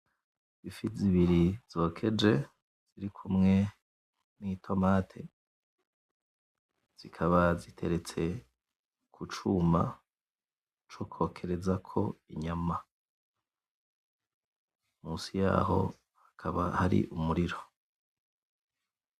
Ifi zibiri zokeje ziri kumwe n'itomate zikaba ziteretse kucuma co kwokerezako inyama munsi yaho hakaba hari umuriro.